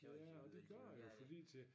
Ja og det gør det jo fordi til